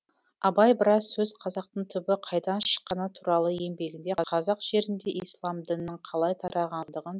абай біраз сөз қазақтың түбі қайдан шыққаны туралы еңбегінде қазақ жерінде ислам дінінің қалай тарағандығын